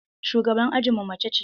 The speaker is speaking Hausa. Shugaban ajinmu mace ce.